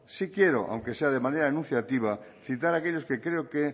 sí quiero aunque sea de manera enunciativa citar aquellos que creo que